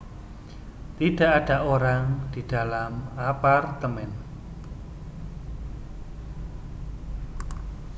tidak ada orang di dalam apartemen